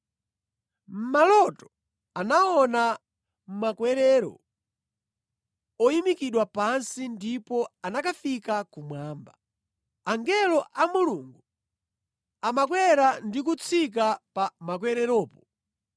Mʼmaloto, anaona makwerero oyimikidwa pansi ndipo anakafika kumwamba. Angelo a Mulungu amakwera ndi kutsika pa makwereropo.